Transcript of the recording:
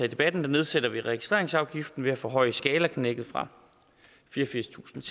i debatten nedsætter vi registreringsafgiften ved at forhøje skalaknækket fra fireogfirstusinde